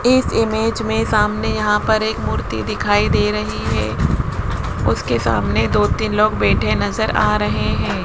इस इमेज में सामने यहां पर एक मूर्ति दिखाई दे रहीं हैं उसके सामने दो तीन लोग बैठे नजर आ रहें हैं।